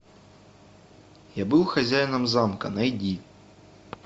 я был хозяином замка найди